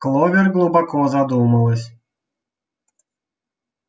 кловер глубоко задумалась